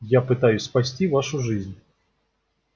я пытаюсь спасти вашу жизнь